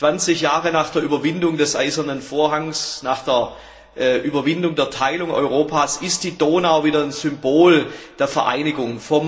Zwanzig Jahre nach der Überwindung des Eisernen Vorhangs, nach der Überwindung der Teilung Europas ist die Donau wieder ein Symbol der Vereinigung.